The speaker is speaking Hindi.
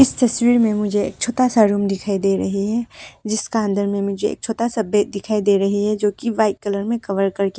इस तस्वीर में मुझे एक छोटा सा रूम दिखाई दे रही है जिसका अंदर में मुझे एक छोटा सा बेड दिखाई दे रही है जो की वाइट कलर में कवर करके--